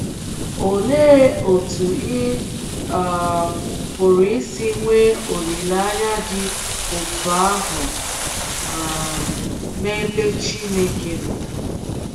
Olee otú ị um pụrụ isi nwee olileanya dị otú ahụ um n’ebe Chineke nọ?